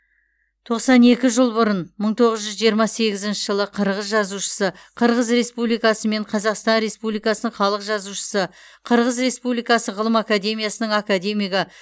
тоқсан екі жыл бұрын мың тоғыз жүз жиырма сегізінші жылы қырғыз жазушысы қырғыз республикасы мен қазақстан республикасының халық жазушысы қырғыз республикасы ғылым академиясының академигі